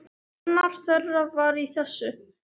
Annar þeirra var í þessu!